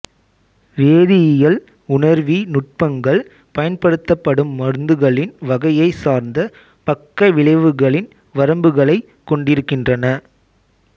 வேதியியல் உணர்வி நுட்பங்கள் பயன்படுத்தப்படும் மருந்துகளின் வகையைச் சார்ந்து பக்க விளைவுகளின் வரம்புகளைக் கொண்டிருக்கின்றன